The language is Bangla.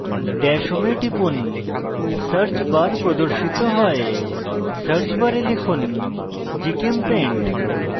dash home এ টিপুন>> search bar প্রদর্শিত হয়>> search bar লিখুন gchempaint